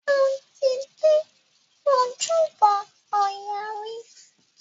Mo ti dé Ojúbọ ọya rí.